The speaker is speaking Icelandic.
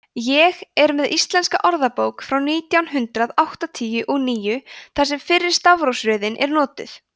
ég er með íslenska orðabók frá nítján hundrað áttatíu og níu þar sem fyrri stafrófsröðin er notuð